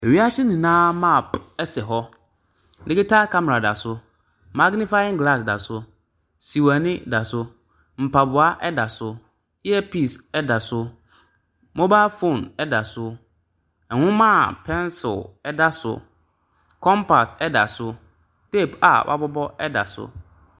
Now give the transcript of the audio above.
Wiase nyinaa map hyɛ hɔ, digital camera da so, magnifying glass da so, siwani da so, mpaboa da so, earpiece da so, mobile phone da so, nwoma a pencil da so, compass da so, tape a wabobɔ da so.